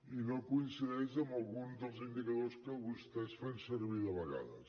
i no coincideix amb alguns dels indicadors que vostès fan servir de vegades